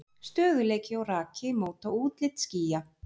Stöðugleiki og raki móta útlit skýja.